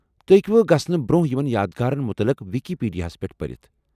تُہۍ ہیٚکوٕ گژھنہٕ برٛۄنٛہہ یمن یادگارن متعلق وِکی پیٖڈیاہس پٮ۪ٹھ پٔرتھ ۔